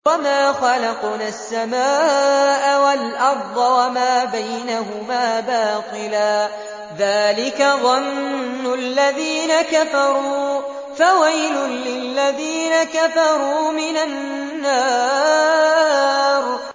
وَمَا خَلَقْنَا السَّمَاءَ وَالْأَرْضَ وَمَا بَيْنَهُمَا بَاطِلًا ۚ ذَٰلِكَ ظَنُّ الَّذِينَ كَفَرُوا ۚ فَوَيْلٌ لِّلَّذِينَ كَفَرُوا مِنَ النَّارِ